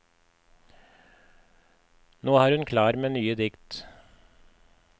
Nå er hun klar med nye dikt.